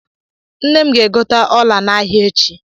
Nnem ga-egote ọla n’ahịa echi